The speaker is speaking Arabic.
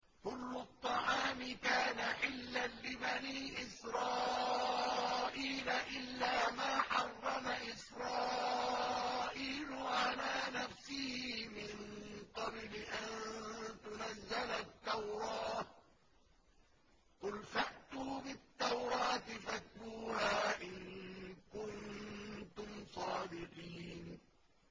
۞ كُلُّ الطَّعَامِ كَانَ حِلًّا لِّبَنِي إِسْرَائِيلَ إِلَّا مَا حَرَّمَ إِسْرَائِيلُ عَلَىٰ نَفْسِهِ مِن قَبْلِ أَن تُنَزَّلَ التَّوْرَاةُ ۗ قُلْ فَأْتُوا بِالتَّوْرَاةِ فَاتْلُوهَا إِن كُنتُمْ صَادِقِينَ